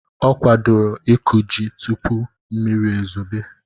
Ọ kwadoro ịkụ ji tupu mmiri ezobe.